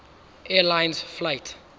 air lines flight